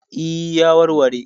E, ya warware?